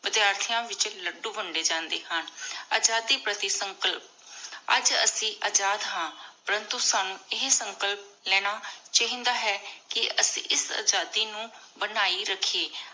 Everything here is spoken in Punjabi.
ਵਾਦੀਯਾਠੀਆਂ ਵਿਚ ਲੱਡੂ ਵੰਡੇ ਜਾਂਦੇ ਹਨ। ਆਜ਼ਾਦੀ ਪ੍ਰਤੀ ਸੰਕਲਪ- ਅਜੇ ਅਸੀਂ ਅਜਾਦ ਹਾਂ ਪਰੰਤੂ ਸਾਨੂ ਏਹੀ ਸੰਕਲਪ ਲੇਣਾ ਚਾਹੀਦਾ ਹੈ ਕੀ ਅਸੀਂ ਇਸ ਆਜ਼ਾਦੀ ਨੂ ਬਨਾਯੀ ਰੱਖੀਏ।